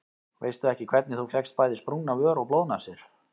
Veistu ekki hvernig þú fékkst bæði sprungna vör og blóðnasir.